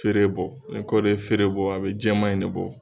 Feere bɔ ni kɔɔri ye feere bɔ a bɛ jɛman in ne bɔ.